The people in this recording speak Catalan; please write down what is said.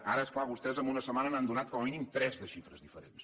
ara és clar vostès en una setmana n’han donat com a mínim tres de xifres diferents